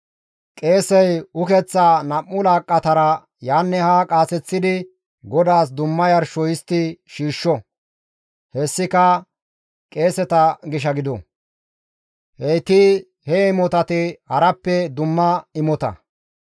Qeesey ukeththaa nam7u laaqqatara yaanne haa qaaseththidi GODAAS dumma yarsho histti shiishsho; hessika qeeseta gisha gido; heyti he imotati harappe dumma imota.